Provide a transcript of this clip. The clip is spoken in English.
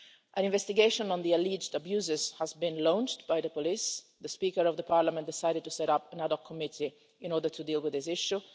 An investigation into the alleged abuses has been launched by the police. The Speaker of Parliament decided to set up an another committee to deal with this issue.